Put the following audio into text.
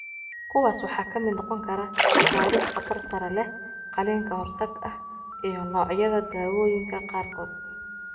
Kuwaas waxaa ka mid noqon kara baaris khatar sare leh, qalliin ka hortag ah iyo noocyada daawooyinka qaarkood.